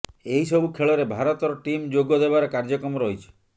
ଏହିସବୁ ଖେଳରେ ଭାରତର ଟିମ୍ ଯୋଗ ଦେବାର କାର୍ଯ୍ୟକ୍ରମ ରହିଛି